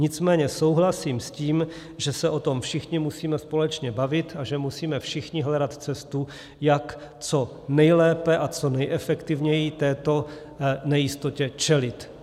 Nicméně souhlasím s tím, že se o tom všichni musíme společně bavit a že musíme všichni hledat cestu, jak co nejlépe a co nejefektivněji této nejistotě čelit.